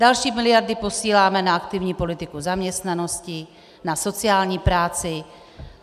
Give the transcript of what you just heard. Další miliardy posíláme na aktivní politiku zaměstnanosti, na sociální práci.